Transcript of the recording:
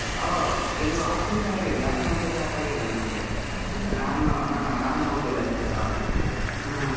ಅವ, ಇದು office start ಆಗಿದೆ last month ಏ start ಆಗಿದೆ ನಮಗೆ. ನಾನೂ, ಹ್ಮೂ ನಾನ್ ಹೋಗ್ಲಿಲ್ಲ ಅಷ್ಟೆ office ಗೆ ಹಾ.